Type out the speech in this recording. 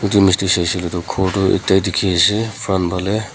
etu image tey sai shai kolay do khor do akada dekhi asa front bhalay.